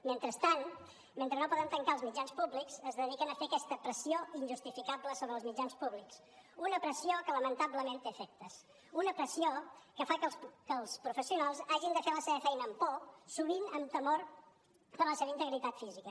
mentrestant mentre no poden tancar els mitjans públics es dediquen a fer aquesta pressió injustificable sobre els mitjans públics una pressió que lamentablement té efectes una pressió que fa que els professionals hagin de fer la seva feina amb por sovint amb temor per la seva integritat física